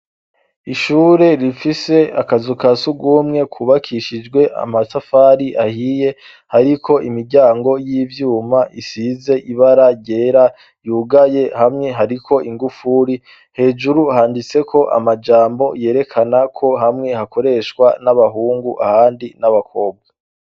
Ishure rifise akazu ka sugumwe kubakishijwe amasafari ahiye hariko imiryango y'ivyuma isize ibara ryera yugaye hamwe hariko ingufuri hejuru handitse ko amajambo yerekana ko hamwe hakoreshwa n'abahungu ahandi n'abakobwa z.